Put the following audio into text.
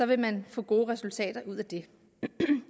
vil man få gode resultater ud af det